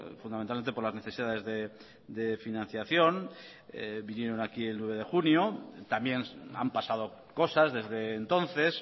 fundamentalmente por las necesidades de financiación vinieron aquí el nueve de junio también han pasado cosas desde entonces